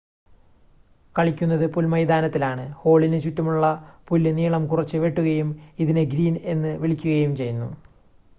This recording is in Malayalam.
കളിക്കുന്നത് പുൽമൈതാനത്തിലാണ് ഹോളിന് ചുറ്റുമുള്ള പുല്ല് നീളം കുറച്ച് വെട്ടുകയും ഇതിനെ ഗ്രീൻ എന്ന് വിളിക്കുകയും ചെയ്യുന്നു